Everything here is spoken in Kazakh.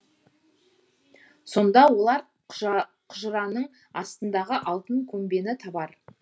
сонда олар құжыраның астындағы алтын көмбені табар